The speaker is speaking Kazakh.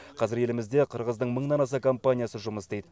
қазір елімізде қырғыздың мыңнан аса компаниясы жұмыс істейді